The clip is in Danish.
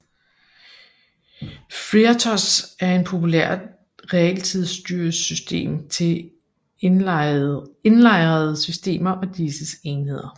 FreeRTOS er en populær realtidsstyresystem til indlejrede systemer og disses enheder